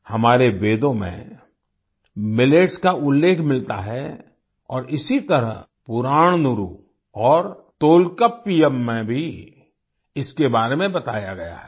हमारे वेदों में मिलेट्स का उल्लेख मिलता है और इसी तरह पुराणनुरू और तोल्काप्पियम में भी इसके बारे में बताया गया है